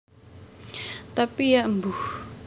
Tapi Ya mbuh